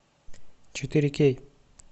четыре кей